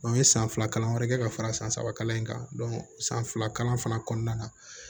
n ye san fila kalan wɛrɛ kɛ ka fara san saba kalan in kan san fila kalan fana kɔnɔna na